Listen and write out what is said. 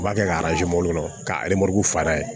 U b'a kɛ ka kɔnɔ ka fara